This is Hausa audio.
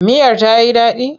Miyar ta yi daɗi?